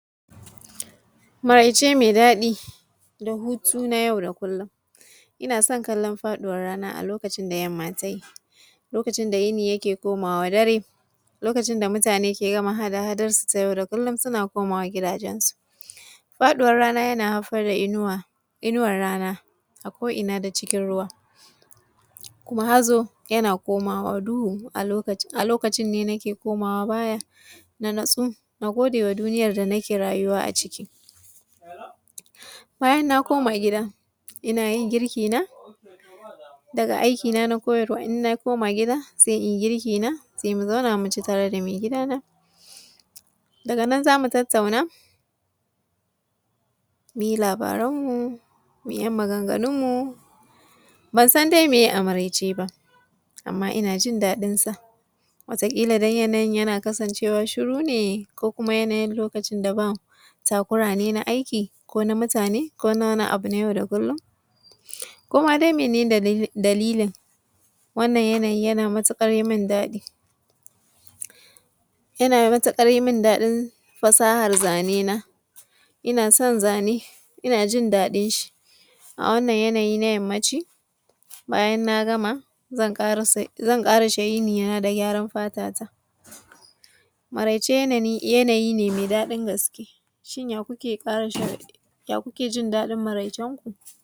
Maryace me daɗi da hutu na yau da kullum ina son kallon faɗuwan rana a lokacin da yamma ta yi, lokacin da yini yake komawa dare, lokacin da mutane suke gama hada-hadansu na yau da kullum muna komawa gidajensu faɗuwan rana yana haifa da inuwa inuwan rana a ko ina da cikin ruwa kuma hazo yana komawa duhu a a lokacin ne nake komawa baya na natsu na gode ma duniyar da nake rayuwa a ciki bayan na koma gida ina yin girki na daga aikina na koyarwa ina koma gida se in girki na se mu zauna mu ci tare da me gidana daga nan za mu tattauna mu yi labaranmu mu yi ɗan maganganunmu ban san dai me ye a maryaceba ama ina jin daɗinsa wata ƙila yanyin yana kasancewa shuru ne ko kuma yanayin lokacin da ba takura ne na aiki ko na mutane ko wani abu nau da kullum ko ma dai mene ne da dalilin wannan yana yana matuƙar yi mini daɗi yana matuƙar yi min daɗin fasahar zane na ina son zane ina jin daɗin shi a wannan yanayi na na yanmaci bayan na gama zan kasance ƙarishe yin gyare-gyaren fatata maryace yanayi ne me daɗin gaske shi ne ya kuke ƙara son ya kuke jin daɗin maryacenku.